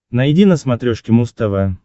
найди на смотрешке муз тв